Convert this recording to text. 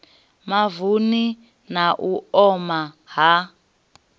mavuni na u oma ha